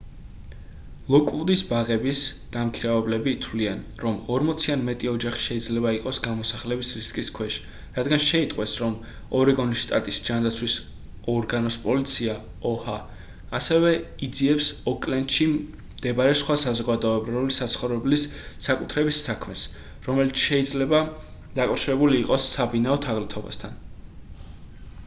ლოკვუდის ბაღების დამქირავებლები თვლიან რომ 40 ან მეტი ოჯახი შეიძლება იყოს გამოსახლების რისკის ქვეშ რადგან შეიტყვეს რომ ორეგონის შტატის ჯანდაცვის ორგანოს პოლიცია oha ასევე იძიებს ოკლენდში მდებარე სხვა საზოგადოებრივი საცხოვრებლის საკუთრების საქმეს რომელიც შეიძლება დაკავშირებული იყოს საბინაო თაღლითობასთან